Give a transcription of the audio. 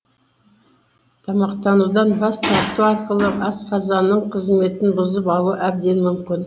тамақтанудан бас тарту арқылы асқазанның қызметін бұзып алу әбден мүмкін